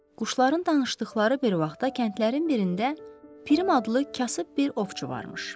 Quşların danışdıqları bir vaxtda kəndlərin birində Pirim adlı kasıb bir ovçu varmış.